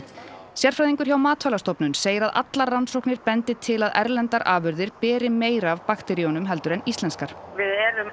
sérfræðingur hjá Matvælastofnun segir allar rannsóknir benda til að erlendar afurðir beri meira af bakteríunum en íslenskar við erum